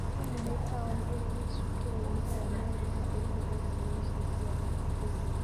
Kisumu nĩ taũni ĩrĩ gĩcukĩro-inĩ kĩa meri na ĩrĩ hũgũrũrũ-inĩ cia Iria rĩa Victoria.